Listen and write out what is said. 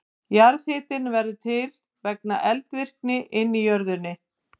Jarðhitinn verður til vegna eldvirkninnar inni í jörðinni.